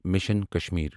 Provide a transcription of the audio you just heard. mission Kashmir